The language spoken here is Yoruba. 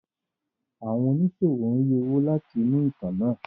Àwọn oníṣòwò ń rí owó láti inú ìtàn náà.